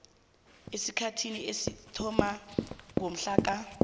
esikhathini esathoma ngomhlaka